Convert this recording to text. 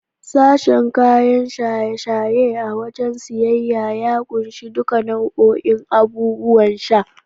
Sashen kayan shaye-shaye a wajen siyayya ya kunshi duka bau'in abubuwan sha.